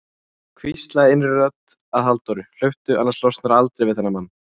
hvíslaði innri rödd að Halldóru: hlauptu, annars losnarðu aldrei við þennan mann.